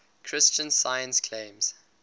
christian science claims